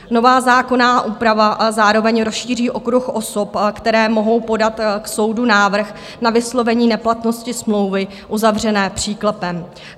Nová zákonná úprava zároveň rozšíří okruh osob, které mohou podat k soudu návrh na vyslovení neplatnosti smlouvy uzavřené příklepem.